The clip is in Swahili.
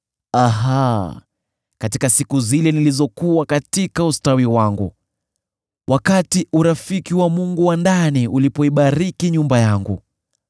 Natamani siku zile nilizokuwa katika ustawi wangu, wakati urafiki wa Mungu wa ndani ulipoibariki nyumba yangu,